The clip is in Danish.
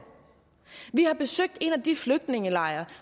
vi besøgte en af de flygtningelejre